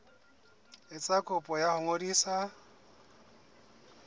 etsa kopo ya ho ngodisa